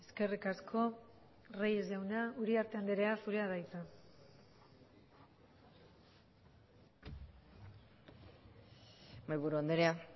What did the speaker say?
eskerrik asko reyes jauna uriarte andrea zurea da hitza mahaiburu andrea